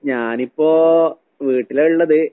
ഞാനിപ്പോ വീട്ടിലാ ഇള്ളത്.